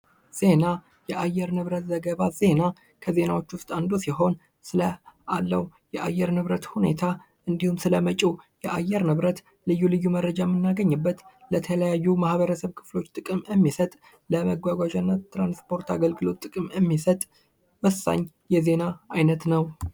ዜና የአየር ንብረት ዘገባ ዜና ከዜናዎች ውስጥ አንዱ ሲሆን ስለ አለው የአየር ንብረት ሁኔታ እንዲሁም ስለመጭው የአየር ንብረት ልዩ ልዩ መረጃ የምናገኝበት የተለያዩ ለተለያዩ ማህበረሰብ ክፍሎች ጥቅም የሚሰጥ ለመጓጓዣ እና የትራንስፖርት ጥቅም የሚሰጥ ወሳኝ የዜና አይነት ነው።